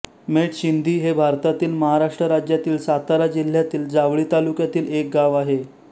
मेट शिंदी हे भारतातील महाराष्ट्र राज्यातील सातारा जिल्ह्यातील जावळी तालुक्यातील एक गाव आहे